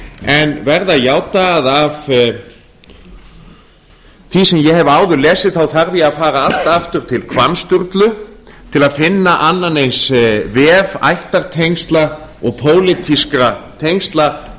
en verð að játa að af því sem ég hef áður lesið þarf ég að fara allt aftur til hvamms sturlu til að finna annan eins vef ættartengsla og pólitískra tengsla